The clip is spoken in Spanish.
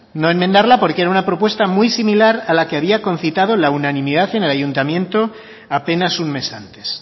no enmendarla porque era una propuesta muy similar a la que había confitado al unanimidad en el ayuntamiento apenas un mes antes